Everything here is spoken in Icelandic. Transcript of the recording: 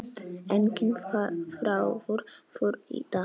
Enginn þráður þurr í dag.